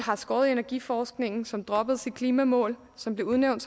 har skåret i energiforskningen som droppede sit klimamål som blev udnævnt